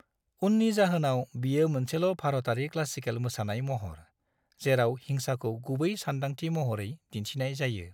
उननि जाहोनाव, बियो मोनसेल' भारतारि क्लासिकेल मोसानाय महर, जेराव हिंसाखौ गुबै सानदांथि महरै दिन्थिनाय जायो।